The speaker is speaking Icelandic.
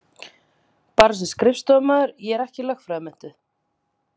Bara sem skrifstofumaður, ég er ekki lögfræðimenntuð.